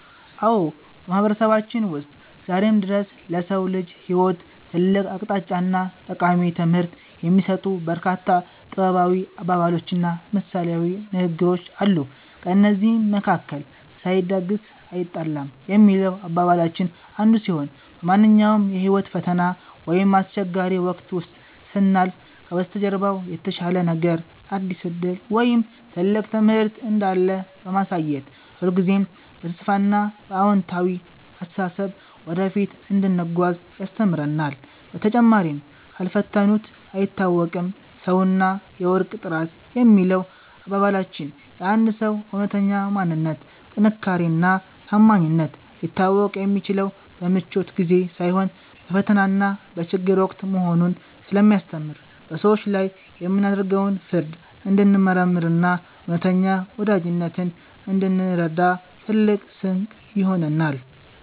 አዎ፣ በማህበረሰባችን ውስጥ ዛሬም ድረስ ለሰው ልጅ ህይወት ትልቅ አቅጣጫና ጠቃሚ ትምህርት የሚሰጡ በርካታ ጥበባዊ አባባሎችና ምሳሌያዊ ንግግሮች አሉ። ከእነዚህም መካከል “ሳይደግስ አይጣላም” የሚለው አባባላችን አንዱ ሲሆን፣ በማንኛውም የህይወት ፈተና ወይም አስቸጋሪ ወቅት ውስጥ ስናልፍ ከበስተጀርባው የተሻለ ነገር፣ አዲስ ዕድል ወይም ትልቅ ትምህርት እንዳለ በማሳየት ሁልጊዜም በተስፋና በአዎንታዊ አስተሳሰብ ወደፊት እንድንጓዝ ያስተምረናል። በተጨማሪም “ካልፈተኑት አይታወቅም ሰውና የወርቅ ጥራት” የሚለው አባባላችን የአንድ ሰው እውነተኛ ማንነት፣ ጥንካሬና ታማኝነት ሊታወቅ የሚችለው በምቾት ጊዜ ሳይሆን በፈተናና በችግር ወቅት መሆኑን ስለሚያስተምር፣ በሰዎች ላይ የምናደርገውን ፍርድ እንድንመረምርና እውነተኛ ወዳጅነትን እንድንረዳ ትልቅ ስንቅ ይሆነናል።